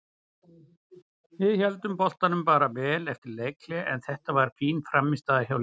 Við héldum boltanum bara vel eftir leikhlé og þetta var fín frammistaða hjá liðinu.